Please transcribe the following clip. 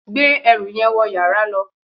gbé ẹrù yẹn wọ yàrá lọ